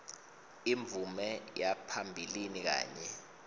imvume yaphambilini kanye